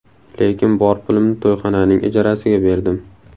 Lekin bor pulimni to‘yxonaning ijarasiga berdim.